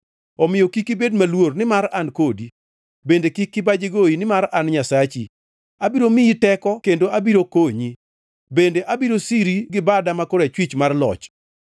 Omiyo kik ibed maluor, nimar an kodi; bende kik kibaji goyi, nimar an Nyasachi. Abiro miyi teko kendo abiro konyi; bende abiro siri gi bada ma korachwich mar loch.”